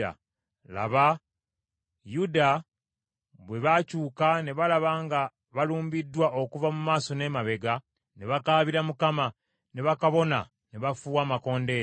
Laba Yuda bwe baakyuka ne balaba nga balumbiddwa okuva mu maaso n’emabega, ne bakaabira Mukama , ne bakabona ne bafuuwa amakondeere.